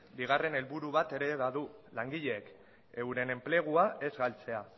bigarren helburu bat ere badu langileek euren enplegua ez galtzea